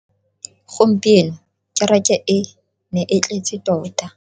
Gompieno kereke e ne e tletse tota.